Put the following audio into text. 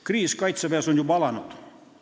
Kriis kaitseväes on juba alanud.